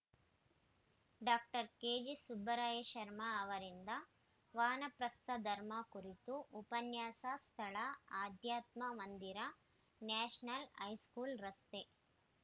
doctor K G Subraya Sharma ಅವರಿಂದ ವಾನಪ್ರಸ್ಥ ಧರ್ಮಾ ಕುರಿತು ಉಪನ್ಯಾಸ ಸ್ಥಳ ಆಧ್ಯಾತ್ಮ ಮಂದಿರ ನ್ಯಾಷನಲ್‌ ಹೈಸ್ಕೂಲ್‌ ರಸ್ತೆ